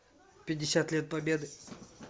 пятьдесят лет победы